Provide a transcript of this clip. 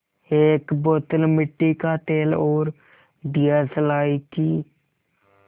एक बोतल मिट्टी का तेल और दियासलाई की